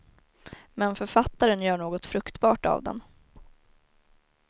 Men författaren gör något fruktbart av den.